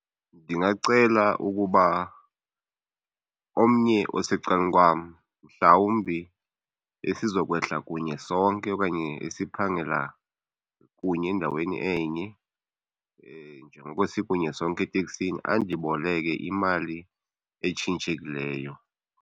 Ndingacela ukuba omnye osecalkwam mhlawumbi esizokwehla kunye sonke okanye esiphangela kunye endaweni enye njengoko sikunye sonke eteksini andiboleke imali etshintshekileyo.